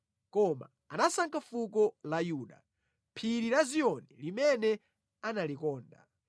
Koma anasankha fuko la Yuda, phiri la Ziyoni limene analikonda.